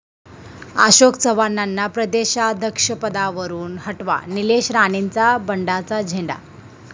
अशोक चव्हाणांना प्रदेशाध्यक्षपदावरुन हटवा, निलेश राणेंचा बंडाचा झेंडा